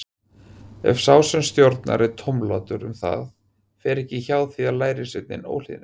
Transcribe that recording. Ef sá sem stórnar er tómlátur um það, fer ekki hjá því að lærisveinninn óhlýðnist.